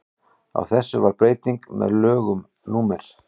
á þessu varð breyting með lögum númer